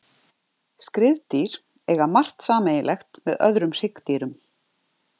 Skriðdýr eiga margt sameiginlegt með öðrum hryggdýrum.